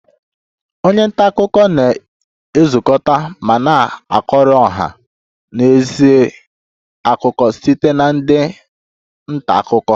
Onye nta akụkọ na-ezukọta ma na-akọrọ ọha na eze akụkọ site na ndị nta akụkọ